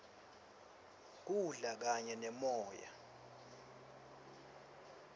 kudla kanye neboya